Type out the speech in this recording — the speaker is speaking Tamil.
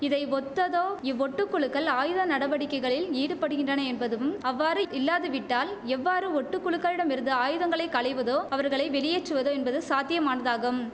இதை ஒத்ததோ இவ் ஒட்டு குழுக்கள் ஆயுத நடவடிக்கைகளில் ஈடுபடுகின்றன என்பதும் அவ்வாறு இல்லாது விட்டால் எவ்வாறு ஒட்டுக்குழுக்களிடம் இருந்து ஆயுதங்களை களைவதோ அவர்களை வெளியேற்றுவதோ என்பது சாத்தியமானதாகும்